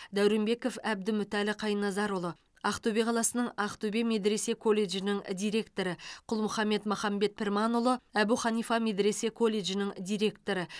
дәуренбеков әбдімүтәлі қайназарұлы ақтөбе қаласының ақтөбе медресе колледжінің директоры құлмұхаммед махамбет пірманұлы әбу ханифа медресе колледжінің директоры